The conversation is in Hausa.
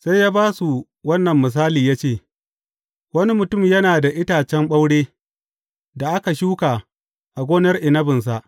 Sai ya ba su wannan misali ya ce, Wani mutum yana da itacen ɓaure, da aka shuka a gonar inabinsa.